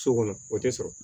So kɔnɔ o tɛ sɔrɔ